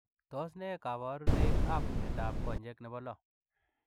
Tos ne kabarunoik ap miondoop konyeek nepoo loo?